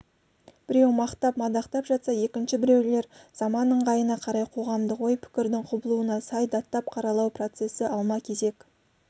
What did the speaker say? біреу мақтап-мадақтап жатса екінші біреулер замана ыңғайына қарай қоғамдық ой-пікірдің құбылуына сай даттап-қаралау процесі алма-кезек